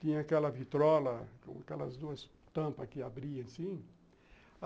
Tinha aquela vitrola com aquelas duas tampas que abria assim.